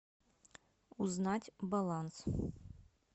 узнать баланс